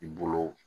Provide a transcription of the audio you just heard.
I bolo